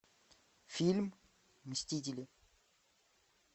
фильм мстители